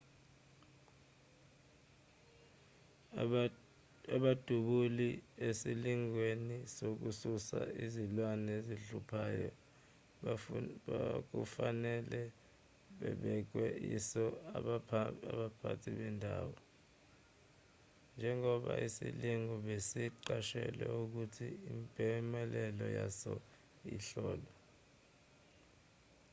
abadubuli esilingweni sokususa izilwane ezihluphayo bekufanele babekwe iso abaphathi bendawo njengoba isilingo besiqashelwe futhi impumelelo yaso ihlolwa